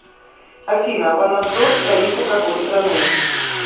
афина ванадзор столица какой страны